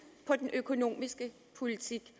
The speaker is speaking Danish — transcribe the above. på den økonomiske politik